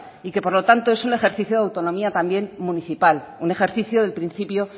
y que por lo tanto es un ejercicio de autonomía también municipal un ejercicio del principio